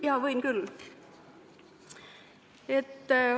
Jaa, võin küll.